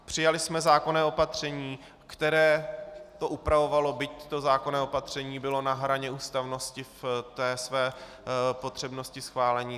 Přijali jsme zákonné opatření, které to upravovalo, byť to zákonné opatření bylo na hraně ústavnosti v té své potřebnosti schválení.